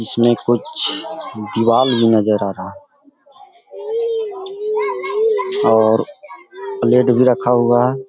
इसमें कुछ दिवार भी नजर आ रहा है और प्लेट भी रखा हुआ है